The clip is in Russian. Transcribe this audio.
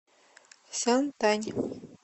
сянтань